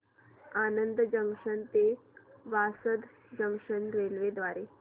Anand junction ते Vasad junction railway द्वारे